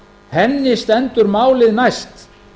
henni stendur málið næst